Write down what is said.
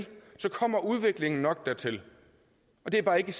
så kommer udviklingen nok dertil det er bare ikke